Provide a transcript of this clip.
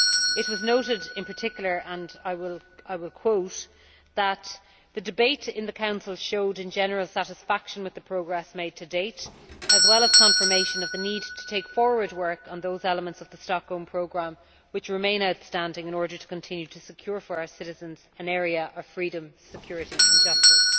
It was noted in particular, and I quote, that the debate in the Council showed, in general, satisfaction with the progress made to date as well as confirmation of the need to take forward work on those elements of the Stockholm Programme which remain outstanding in order to continue to secure for our citizens an area of freedom, security and justice.